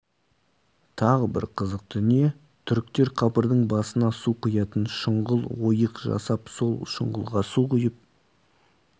тағы бір қызық дүние түріктер қабірдің басына су құятын шұңғыл ойық жасап сол шұңғылға су құйып